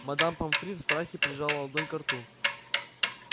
мадам помфри в страхе прижала ладонь ко рту